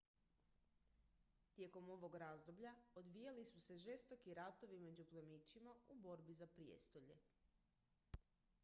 tijekom ovog razdoblja odvijali su se žestoki ratovi među plemićima u borbi za prijestolje